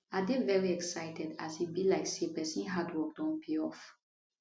i dey veri excited as e be like say pesin hard work don pay off